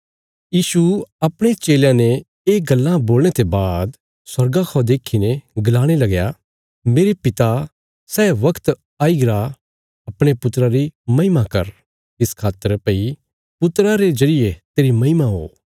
यीशु अपणे चेलयां ने ये गल्लां बोलणे ते बाद स्वर्गा खौ देखीने गलाणे लगया मेरे पिता सै वगत आईगरा अपणे पुत्रा री महिमा कर इस खातर भई पुत्रा रे जरिये तेरी महिमा हो